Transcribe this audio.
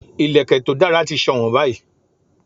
Ìlẹ̀kẹ̀ to dara ti sowon báyìí